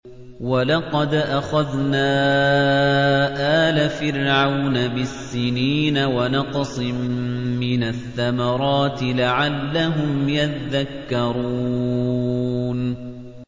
وَلَقَدْ أَخَذْنَا آلَ فِرْعَوْنَ بِالسِّنِينَ وَنَقْصٍ مِّنَ الثَّمَرَاتِ لَعَلَّهُمْ يَذَّكَّرُونَ